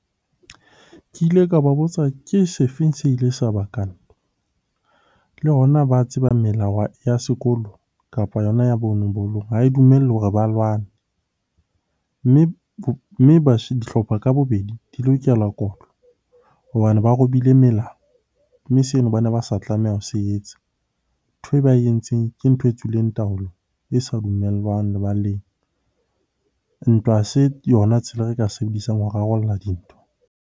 Ke ile ka ba botsa ke sefeng se ile sa baka le hona ba tseba melao ya sekolo kapa yona ya bolong ha e dumelle hore ba lwane. Mme dihlopha ka bobedi di lokela kotlo hobane ba robile melao, mme seno bane ba sa tlamehang ho se etsa. Nthwe ba e entseng ke ntho e tswileng taolong, e sa dumellwang lebaleng. Ntwa ha se yona tsela e re ka e sebedisang ho rarolla dintho.